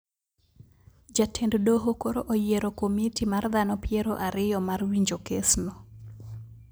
Jatend doho koro oyiero komiti mar dhano piero ariyo mar winjo kes no